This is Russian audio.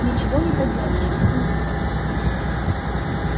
ничего не поделаешь атмосфера